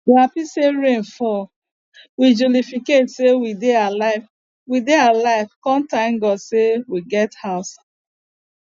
we happy say rain fall we jolificate say we dey alive we dey alive con thank god say we get house